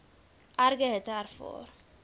erge hitte ervaar